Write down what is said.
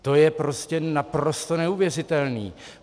To je prostě naprosto neuvěřitelné!